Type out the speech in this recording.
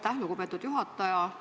Aitäh, lugupeetud juhataja!